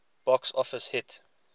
box office hit